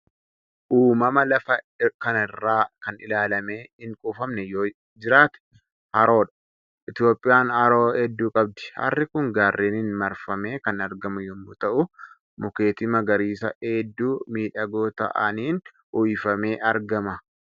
Uumama lafa kanaa irraa kan ilaalamee hin quufamne yoo iiraate haroodha. Itiyoophiyaan haroo hedduu qabdi. Harri kun gaarreniin marfamee kan argamu yommuu ta'u, mukkeetii magariisaa hedduu miidhagoo ta'aniin uwwufamee argama.